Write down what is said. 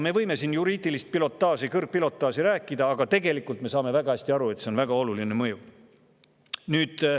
Me võime siin rääkides juriidilist kõrgpilotaaži, aga tegelikult me saame väga hästi aru, et see on väga oluline mõju.